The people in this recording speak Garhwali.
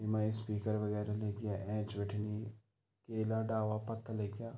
येमा स्पीकर वगेरह लगी ऐंच बिटिन केला डाला पत्ता लग्यां।